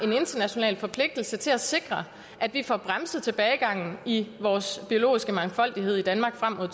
en international forpligtelse til at sikre at vi får bremset tilbagegangen i vores biologiske mangfoldighed i danmark frem mod